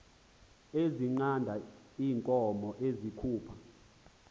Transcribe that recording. ezinqanda iinkomo ezikhupha